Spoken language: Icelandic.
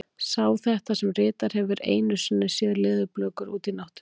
Sá sem þetta ritar hefur einu sinni séð leðurblökur úti í náttúrunni.